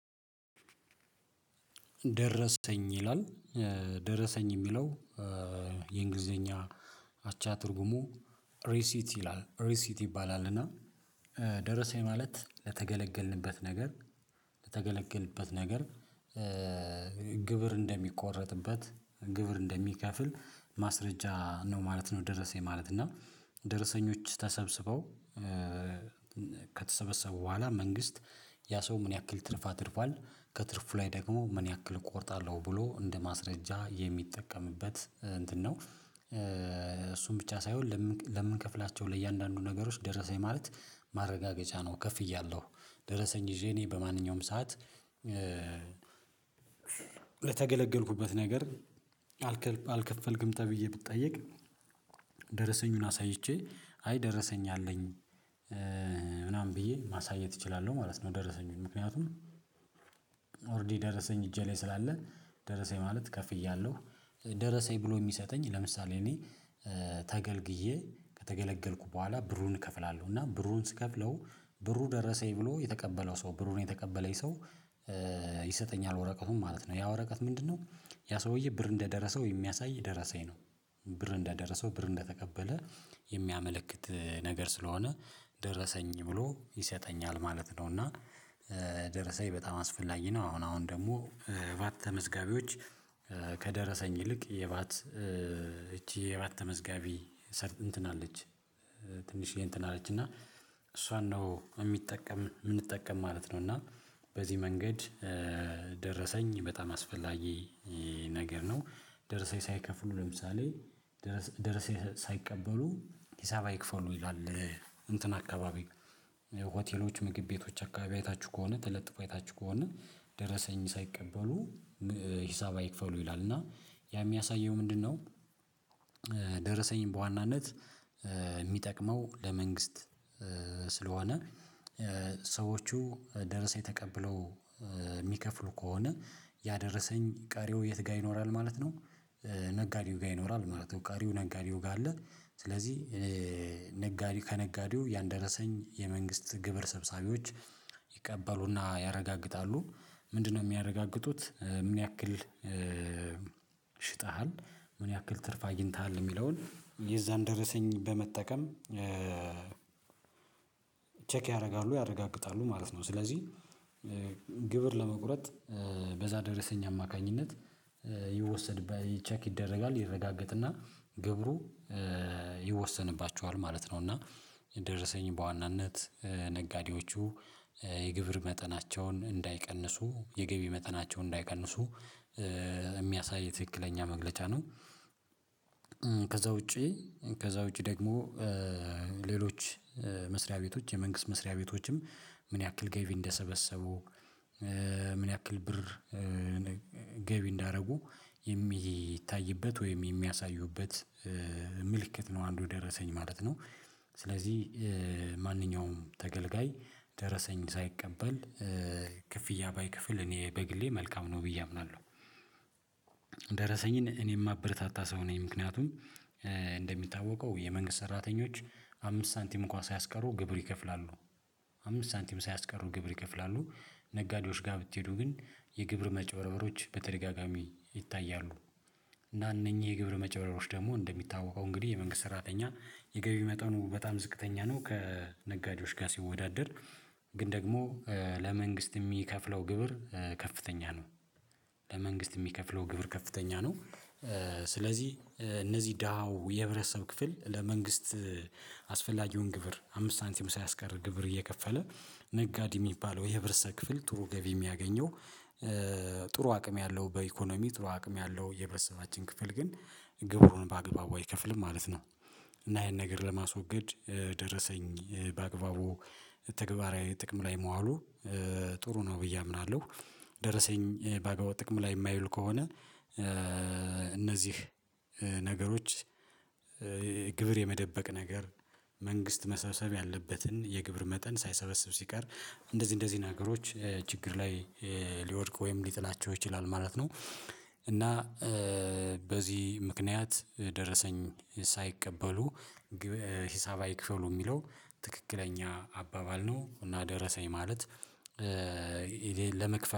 ደረሰኝ ይላል ደረሰኝ የሚለው የእንግሊዘኛ አቻ ትርጉሙ ሪሲት ይላል ሪሲት ይባላል እና ደረሰኝ ማለት ለተገለገልንበት ነገር ለተገለገልንበት ነገር ግብር እንደሚቆረጥበት ግብር እንደሚከፍል ማስረጃ ነው ማለት ነው ደረሰኝ ማለት፣ እና ደረሰኞች ተሰብስበው ከተሰበሰቡ በኋላ መንግስት ያ ሰው ምን ያክል ትርፍ አትርፏል ከትርፉ ላይ ደግሞ ምን ያክል እቆርጣለሁ ብሎ እንደ ማስረጃ የሚጠቀምበት እንትን ነው፣ እሱን ብቻ ሳይሆን ለምንከፍላቸው ለእያንዳንዱ ነገሮች ደረሰኝ ማለት ማረጋገጫ ነው ከፍያለሁ ደረሰኝ ይዤ እኔ በማንኛውም ሰዓት በተገለገልኩበት ነገር አልከፈልክም ተብዬ ብትጠየቅ ደረሰኙን አሳይቼ አይ ደረሰኝ አለኝ ምናምን ብዬ ማሳየት እችላለሁ ማለት ነው ደረሰኙን ምክንያቱም ኦሬዲ ደረሰኝ እጄ ላይ ስላለ ደረሰኝ ማለት ከፍያለሁ ደረሰኝ ብሎ የሚሰጠኝ ለምሳሌ እኔ ተገልግዬ ከተገለገልኩ በኋላ ብሩን እከፍላለሁ እና ብሩን ስከፍለው ብሩ ደረሰኝ ብሎ የተቀበለው ሰው ብሩን የተቀበለኝ ሰው ይሰጠኛል ወረቀውም ማለት ነው፣ ያ ወረቀት ምንድነው ያ ሰውዬ ብር እንደደረሰው የሚያሳይ ደረሰኝ ነው። ብር እንደደረሰው ብር እንደተቀበለ የሚያመለክት ነገር ስለሆነ ደረሰኝ ብሎ ይሰጠኛል ማለት ነው እና ደረሰኝ በጣም አስፈላጊ ነው። አሁን አሁን ደግሞ ባት ተመዝጋቢዎች ከደረሰኝ ይልቅ የባት ይቺ የባት ተመዝጋቢ ሰር እንትን አለች ትንሽዬ እንትን አለች እና እሷን ነው የሚጠቀም የምንጠቀም ማለት ነው እና በዚህ መንገድ ደረሰኝ በጣም አስፈላጊ ነገር ነው። ደርሰው ሳይከፍሉ ለምሳሌ ደርሰው ሳይቀበሉ ሂሳብ አይክፈሉ ይላል እንትን አካባቢ ሆቴሎች፣ ምግብ ቤቶች አካባቢ አይታችሁ ከሆነ ተለጥፎ አይታችሁ ከሆነ ደረሰኝ ሳይቀበሉ ሂሳብ አይክፈሉ ይላል እና ያ የሚያሳየው ምንድነው ደረሰኝ በዋናነት የሚጠቅመው ለመንግስት ስለሆነ ሰዎቹ ደርሰኝ ተቀብለው የሚከፍሉ ከሆነ ያ ደረሰኝ ቀሪው የት ጋር ይኖራል ማለት ነው ነጋዴው ጋር ይኖራል ማለት ነው ቃሪው ነጋዴው ጋር አለ ስለዚህ ነጋዴው ከነጋዴው ያን ደረሰኝ የመንግስት ግብር ሰብሳቢዎች ይቀበሉና ያረጋግጣሉ ምንድነው የሚያረጋግጡት ምን ያክል ሸጠሃል፣ ምን ያክል ትርፍ አግኝተሃል የሚለውን የዛን ደርሰኝ በመጠቀም ቼክ ያደርጋሉ ያረጋግጣሉ ማለት ነው ስለዚህ ግብር ለመቁረጥ በዛ ደረሰኝ አማካኝነት ይወሰድ ቼክ ይደረጋል ይረጋገጥና ግብሩ ይወሰንባቸዋል ማለት ነው እና ደረሰኝን በዋናነት ነጋዴዎቹ የግብር መጠናቸውን እንዳይቀንሱ፣ የገቢ እንዳይቀንሱ የሚያሳይ ትክክለኛ መግለጫ ነው። ከዛ ውጪ ከዛ ውጪ ደግሞ ሌሎች መስሪያ ቤቶች የመንግስት መስሪያ ቤቶችም ምን ያክል ገቢ እንደሰበሰቡ ምን ያክል ብር ገቢ እንዳደረጉ የሚታይበት ወይም የሚያሳዩበት ምልክት ነው አንዱ ደረሰኝ ማለት ነው ስለዚህ ማንኛውም ተገልጋይ ደረሰኝ ሳይቀበል ክፍያ ባይከፍል እኔ በግሌ መልካም ነው ብዬ አምናለሁ። ደረሰኝን እኔ የማበረታታ ሰው ነኝ ምክንያቱም የመንግስት ሰራተኞች አምስት ሳንቲም እንኳን ሳያስቀሩ ግብር ይከፍላሉ አምስት ሳንቲም ሳያስቀሩ ግብር ይከፍላሉ። ነጋዴዎች ጋር ብትሄዱ ግን የግብር መጨበረቦች በተደጋጋሚ ይታያሉ። እና እነኚህ የግብር መጭበርበሮች ደግሞ እንደሚታወቀው እንግዲህ የመንግስት ሰራተኛ የገቢ መጠኑ በጣም ዝቅተኛ ነው ከነጋዴዎች ጋር ሲወዳደር ግን ደግሞ ለመንግስት የሚከፍለው ግብር ከፍተኛ ነው ለመንግስት የሚከፍለው ግብር ከፍተኛ ነው ስለዚህ እነዚህ ደሃው የህብረተሰብ ክፍል ለመንግስት አስፈላጊውን ግብር አምስት ሳንቲም ሳያስቀር ግብር እየከፈለ ነጋዴ የሚባለው የህብረተሰብ ክፍል ጥሩ ገቢ የሚያገኘው ጥሩ አቅም ያለው በኢኮኖሚ ጥሩ አቅም ያለው የህብረሰባችን ክፍል ግን ግብሩን በአግባቡ አይከፍልም ማለት ነው፣ እና ይሄን ነገር ለማስወገድ ደረሰኝ በአግባቡ ተግባራዊ ጥቅም ላይ መዋሉ ጥሩ ነው ብዬ አምናለሁ። ደረሰኝ በአግባቡ ጥቅም ላይ የማይዉል ከሆነ እነዚህ ነገሮች ግብር የመደበቅ ነገር መንግስት መሰሰብ ያለበትን የግብር መጠን ሳይሰበስብ ሲቀር እንደዚህ እንደዚህ ነገሮች ችግር ላይ ሊወድቅ ወይም ሊጥላቸው ይችላል ማለት ነው። እና በዚህ ምክንያት ደረሰኝ ሳይቀበሉ ሂሳብ አይክፈሉ የሚለው ትክክለኛ አባባል ነው እና ደረሰኝ ማለት ለመክፈል